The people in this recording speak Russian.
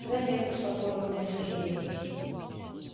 да нет успокоил меня сергей